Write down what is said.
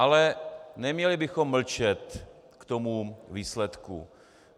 Ale neměli bychom mlčet k tomu výsledku.